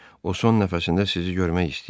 O son nəfəsində sizi görmək istəyir.